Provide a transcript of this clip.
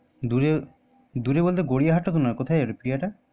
কথাই ক্রিয়া